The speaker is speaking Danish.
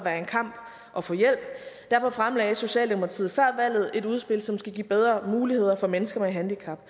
være en kamp at få hjælp derfor fremlagde socialdemokratiet før valget et udspil som skal give bedre muligheder for mennesker med handicap